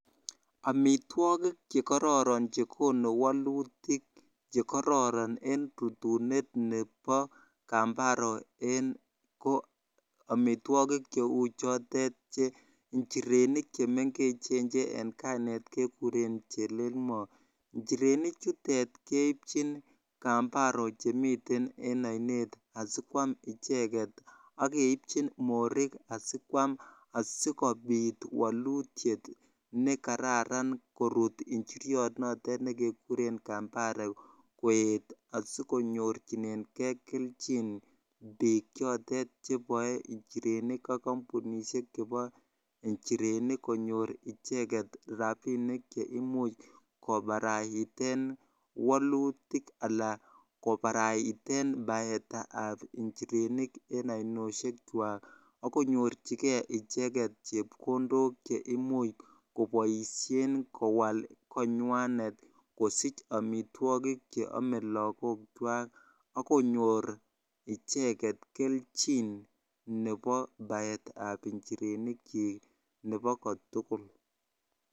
Amitwogik che kararan che konu walutik che kararan en rutunet nepo Kambaro en ko amitwogiik che u chotet, injirenik che mengechen che eng' kainet kekuren chelelmo. Injirenik chutet keipchin kambaro che miten en ainet asi koam icheget. Ak keipchin morik asi koam asikopit walutiet ne kararan korut njiryot notet ne kekure kambare koet asikonyorchinengei kelchin piik chotet che pae njirenik ak kampunishek chepo njirenik konyor icheget rapinik che imuch koparaiten walutik ala koparaiten paet ap njirenik en aninoshekwak ak konyorchigei icheget chepkondok che imuch kopaishen en kowal koinywanet kosich amitwogik che ame lagokwak ak konyor icheget kelchin nepo paet ap njirenik chik nepo ko tugul.